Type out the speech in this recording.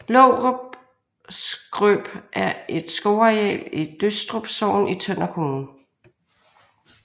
Lovrup Skrøp er et skovareal i Døstrup Sogn i Tønder Kommune